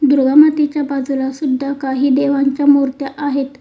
दुर्गा मातेच्या बाजूला सुद्धा काही देवांच्या मुर्त्या आहेत.